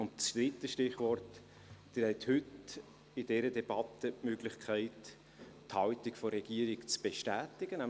Das dritte Stichwort: Sie haben heute in dieser Debatte die Möglichkeit, die Haltung der Regierung zu bestätigen.